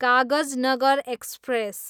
Kagaznagar express